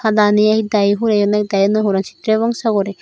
padani ekdagi hureyon ekdagi naw huran sitre bongso guri.